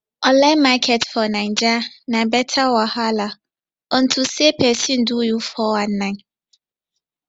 online market for naija na better wahala unto say pesin fit do you 419